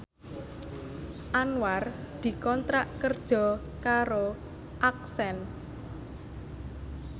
Anwar dikontrak kerja karo Accent